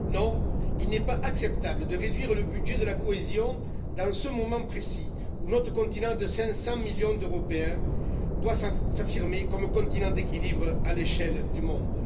Non, il n'est pas acceptable de réduire le budget de la cohésion dans ce moment précis où notre continent de 500 millions d'Européens doit s'affirmer comme continent d'équilibre à l'échelle du monde.